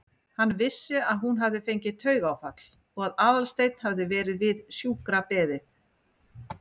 Hann vissi að hún hafði fengið taugaáfall og að Aðalsteinn hafði verið við sjúkrabeðinn.